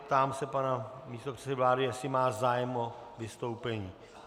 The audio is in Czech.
Ptám se pana místopředsedy vlády, jestli má zájem o vystoupení.